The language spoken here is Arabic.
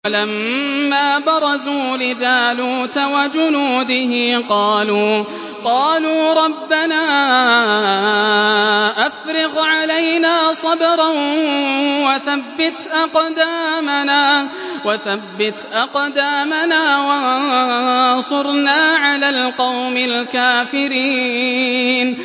وَلَمَّا بَرَزُوا لِجَالُوتَ وَجُنُودِهِ قَالُوا رَبَّنَا أَفْرِغْ عَلَيْنَا صَبْرًا وَثَبِّتْ أَقْدَامَنَا وَانصُرْنَا عَلَى الْقَوْمِ الْكَافِرِينَ